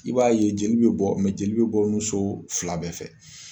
I b'a ye jeli bɛ bɔ jeli bɛ bɔ nunso fila bɛɛ fɛ.